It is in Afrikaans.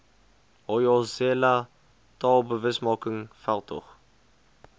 hoyozela taalbewusmaking veldtog